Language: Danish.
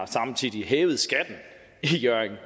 samtidig har hævet skatten i hjørring det